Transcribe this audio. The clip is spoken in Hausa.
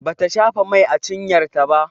Bata shafa mai a cinyar ta ba